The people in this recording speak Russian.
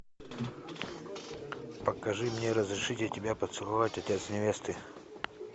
покажи мне разрешите тебя поцеловать отец невесты